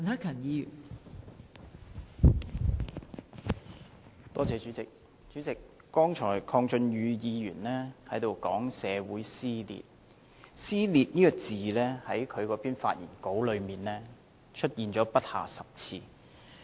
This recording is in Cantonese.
代理主席，剛才鄺俊宇議員提到社會撕裂，"撕裂"這個詞在他的發言中出現了不下10次。